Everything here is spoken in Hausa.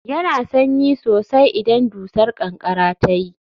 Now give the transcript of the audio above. Yana da sanyi sosai idan dusar ƙanƙara ta yi